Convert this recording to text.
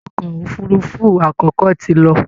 Ọkọ̀ òfurufú àkọ́kọ́ ti lọ